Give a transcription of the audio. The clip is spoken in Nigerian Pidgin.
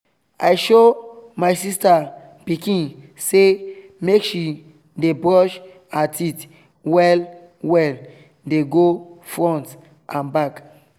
i show my sister pikin say make she dey brush her teeth well well dey go front n back